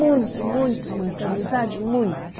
Muito, muito, muita amizade, muito.